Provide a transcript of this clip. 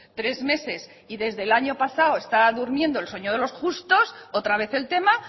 tres meses y desde el año pasado está durmiendo el sueño de los justos otra vez el tema